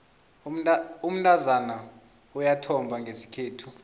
umntazana uyathomba ngesikhethu